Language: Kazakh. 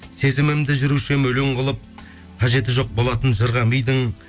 сезімімді жүруші едім өлең қылып қажеті жоқ болатын жырға мидың